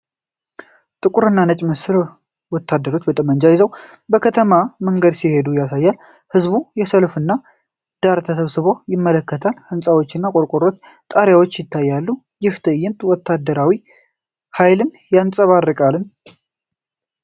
ጥቁርና ነጭ ምስል ወታደሮች ጠመንጃ ይዘው በከተማ መንገድ ሲዘምቱ ያሳያል። ሕዝቡ የሰልፉን ዳር ተሰብስቦ ይመለከታል። ህንጻዎችና የቆርቆሮ ጣሪያዎች ይታያሉ። ይህ ትዕይንት ወታደራዊ ኃይልን ያንፀባርቃል?